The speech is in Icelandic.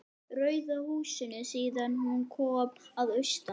Rauða húsinu síðan hún kom að austan.